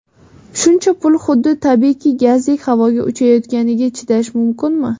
Shuncha pul xuddi tabiiy gazdek havoga uchayotganiga chidash mumkinmi?